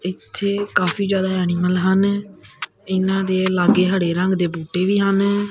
ਇਥੇ ਕਾਫੀ ਜਿਆਦਾ ਐਣੀਮਲ ਹਨ ਇਹਨਾਂ ਦੇ ਲਾਗੇ ਹੜੇ ਰੰਗ ਦੇ ਬੂਟੇ ਵੀ ਹਨ।